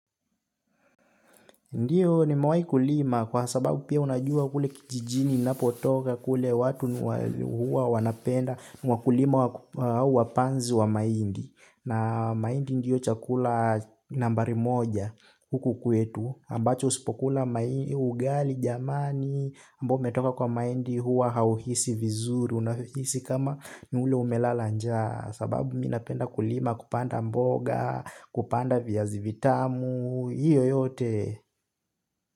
Ndiyo nimewahi kulima kwa sababu pia unajua kule kijijini napotoka kule watu huwa wanapenda wakulima wapanzi wa mahindi na mahindi ndiyo chakula nambari moja huku kwetu ambacho usipokula ugali jamani ambao umetoka kwa mahindi huwa hauhisi vizuri. Unahisi kama ni ule umelala njaa sababu mi napenda kulima kupanda mboga kupanda viazi vitamu hiyo yote.